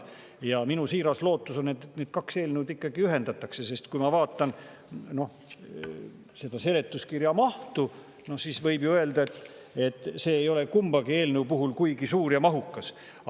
Ja minu siiras lootus on, et need kaks eelnõu ikkagi ühendatakse, sest kui ma vaatan seletuskirju, siis võib ju öelda, et see ei ole kummagi eelnõu puhul kuigi suur ja mahukas.